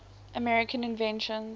american inventions